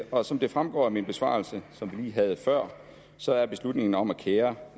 og som det fremgår af min besvarelse som vi lige havde før så er beslutningen om at kære